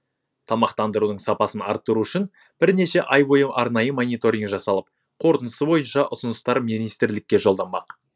тамақтандырудың сапасын арттыру үшін бірнеше ай бойы арнайы мониторинг жасалып қорытындысы бойынша ұсыныстар министрлікке жолданбақ